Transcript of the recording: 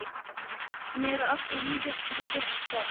Hann er alltof lítill fyrir sitt sport.